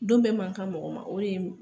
Don bɛɛ man kan mɔgɔ ma o de n b